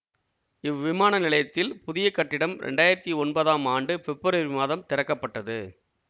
இவ்விமான நிலையத்தில் புதிய கட்டிடம் இரண்டாயிரத்தி ஒன்பதாம் ஆண்டு பிப்ரவரி மாதம் திறக்க பட்டது